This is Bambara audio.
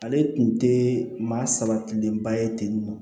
Ale tun tɛ maa sabatilenba ye ten nɔ